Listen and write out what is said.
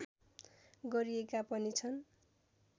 गरिएका पनि छन्